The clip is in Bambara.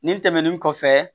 Nin tɛmɛnen kɔfɛ